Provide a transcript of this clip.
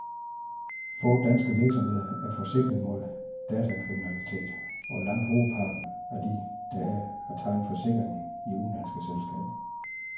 Få danske virksomheder er forsikret mod datakriminalitet, og langt hovedparten af de, der er, har tegnet forsikringen i udenlandske selskaber.